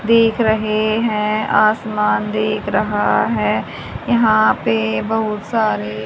देख रहे हैं आसमान देख रहा है यहां पे बहुत सारे--